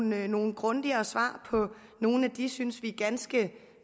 nogle grundigere svar på nogle af de synes vi ganske